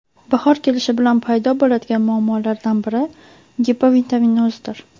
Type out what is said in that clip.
Bahor kelishi bilan paydo bo‘ladigan muammolardan biri gipovitaminozdir.